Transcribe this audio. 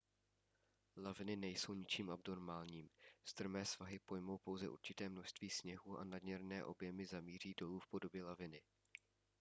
laviny nejsou ničím abnormálním strmé svahy pojmou pouze určité množství sněhu a nadměrné objemy zamíří dolů v podobě laviny